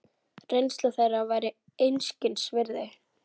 Reynsla þeirra væri einskis virði.